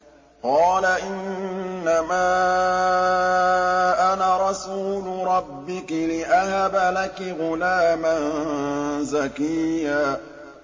قَالَ إِنَّمَا أَنَا رَسُولُ رَبِّكِ لِأَهَبَ لَكِ غُلَامًا زَكِيًّا